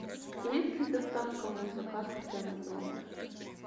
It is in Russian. есть ли доставка моих заказов прямо в номер